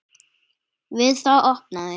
Við það opnaði